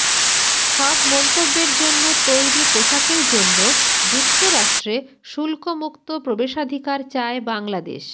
সব মন্তব্যের জন্য তৈরি পোশাকের জন্য যুক্তরাষ্ট্রে শুল্কমুক্ত প্রবেশাধিকার চায় বাংলাদেশ